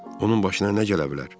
Onun başına nə gələ bilər?